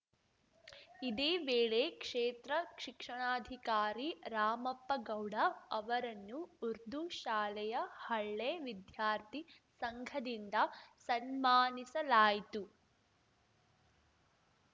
ಇದೇ ವೇಳೆ ಕ್ಷೇತ್ರ ಶಿಕ್ಷಣಾಧಿಕಾರಿ ರಾಮಪ್ಪಗೌಡ ಅವರನ್ನು ಉರ್ದು ಶಾಲೆಯ ಹಳೆ ವಿದ್ಯಾರ್ಥಿ ಸಂಘದಿಂದ ಸನ್ಮಾನಿಸಲಾಯಿತು